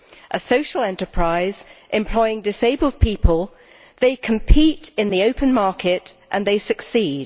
A social enterprise employing disabled people, they compete in the open market and they succeed.